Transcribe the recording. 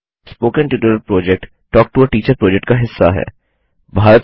spoken tutorial project talk to a teacher project का हिस्सा है